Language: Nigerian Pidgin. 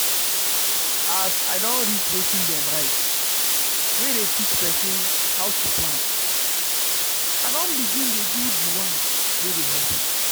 as i don read wetin dem write wey dey teach person how to plan i don begin dey do the one wey dey help me